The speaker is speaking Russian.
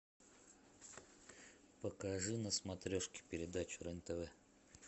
покажи на смотрешке передачу рен тв